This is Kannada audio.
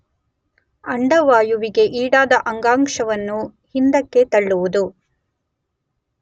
ಅಂಡವಾಯುವಿಗೆ ಈಡಾದ ಅಂಗಾಂಶವನ್ನು ಹಿಂದಕ್ಕೆ ತಳ್ಳುವುದು